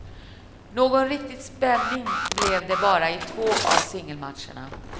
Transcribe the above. Någon riktig spänning blev det bara i två av singelmatcherna.